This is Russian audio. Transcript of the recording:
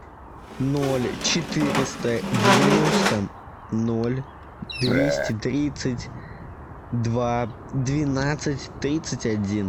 ноль четыреста девяносто ноль двести тридцать два двенадцать тридцать один